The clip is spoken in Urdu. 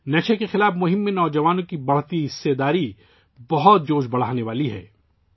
منشیات کے خلاف مہم میں نوجوانوں کی بڑھتی ہوئی شرکت بہت حوصلہ افزا ہے